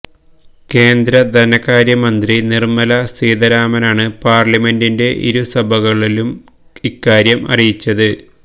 കേന്ദ്ര ധനകാര്യമന്ത്രി നിര്മല സീതാരാമനാണ് പാര്ലമെന്റിന്റെ ഇരു സഭകളിലും ഇക്കാര്യം അറിയിച്ചത്